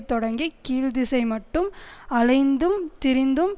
தொடங்கி கீழ் திசைமட்டும் அலைந்தும் திரிந்தும்